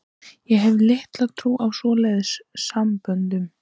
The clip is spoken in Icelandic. Ég hef litla trú á svoleiðis samböndum.